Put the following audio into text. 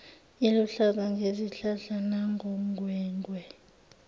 liluhlaza ngezihlahla nangongwengwe